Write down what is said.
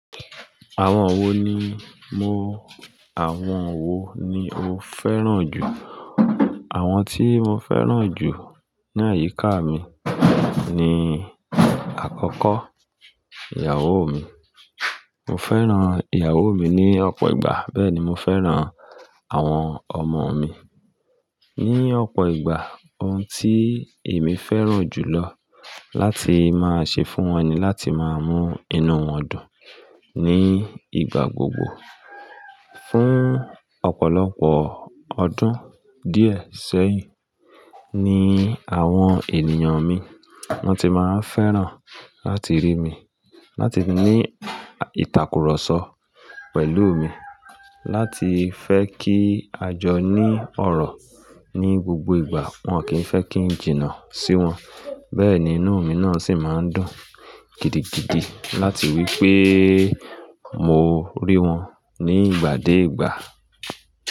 Àwọn wo ni mo-- àwọn wo ni mo fẹ́ràn jù? Àwọn tí mo fẹ́ràn jù ní àyíká mi ni àkọ́kọ́, ìyàwó mi. Mo fẹ́ràn ìyàwó mi ní ọ̀pọ̀ ìgbà, bẹ́ẹ̀ ni mo fẹ́ràn àwọn ọmọ mi ní ọ̀pọ̀ ìgbà. Ohun tí èmi fẹ́ràn jùlọ láti máa ṣe fún wọn ni láti máa mú inú wọn dùn ní ìgbà gbogbo. Fún ọ̀pọ̀lọpọ̀ ọdún díẹ̀ sẹ́yìn ni àwọn ènìyàn mi wọ́n ti máa ń fẹ́ràn láti rí mi, láti ní ìtàkùrọ̀sọ pẹ̀lú mi, láti fẹ́ kí a jọ ní ọ̀rọ̀ ní gbogbo ìgbà. Wọn kì í fẹ́ kí n jìnnà sí wọn. Bẹ́ẹ̀ ni inú mi náà sì máa ń dùn gidigidi láti rí pé mo rí wọn ní ìgbà dé ìgbà.